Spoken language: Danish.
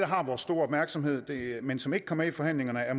har vores store opmærksomhed men som ikke kom med i forhandlingerne er